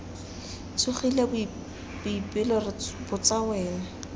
tsogile boipelo re botsa wena